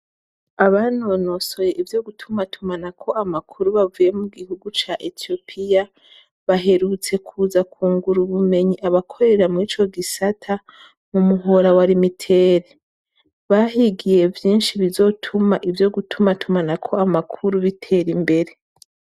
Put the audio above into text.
Abanonose ivyo gutumatumanako amakuru bavuye mugihugu ca Etiyopiya, baherutse kuza kungura ubumenyi abakorera mwico gisata mumuhora wa Rimiteri, bahigiye vyishi bizotuma ivyo gutuma tumanako amakuru bitera imbere.